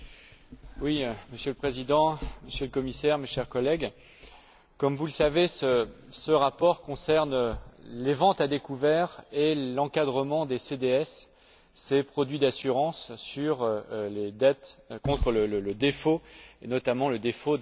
Monsieur le Président, Monsieur le Commissaire, mes chers collègues, comme vous le savez, ce rapport concerne les ventes à découvert et l'encadrement des CDS, ces produits d'assurance sur les dettes contre le défaut, et notamment le défaut des États.